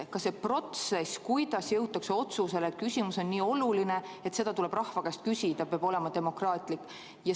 Ka see protsess, kuidas jõutakse otsusele, et küsimus on nii oluline, et seda tuleb rahva käest küsida, peab olema demokraatlik.